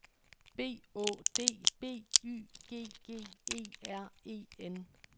B Å D B Y G G E R E N